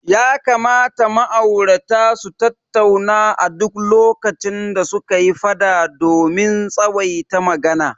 Ya kamata ma'aurata su tattauna a duk lokacin da suka yi fada domin tsawaita magana.